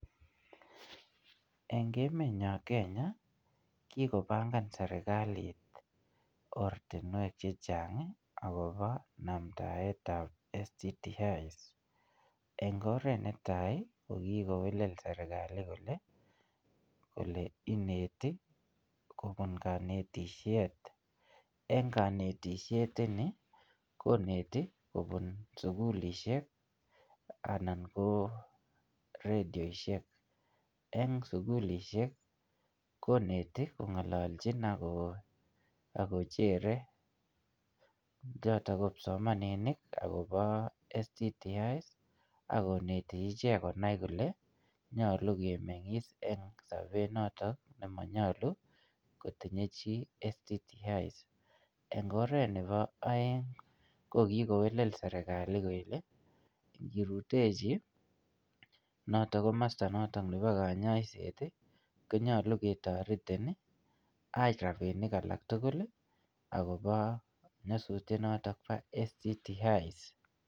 Eng emet nyoo Kenya, kikopangan serikalit ortinwek chechang akobo namndaetab STIs. Eng oret netai, ko kikowelel serikalit kole, ole ineti kobun kanetishet. Eng kanetishet ni, koneti kobun sugulishek, anan ko redioshiek. Eng sugulishiek, koneti, kongolochin ako akojere chotok ko kipsomaninik akobo STIs, akoneti ichek konai kole nyolu kemeng'is eng sobet notok nemonyolu kotinye chi STIs. Eng oret nebo aeng, ko kikowelel serikali kele, kikirutechi notok komasta notok nebo kanyaiset, konyolu ketoretin, ak rabinik alak tugul, akobo nyasutiet notok po STIs.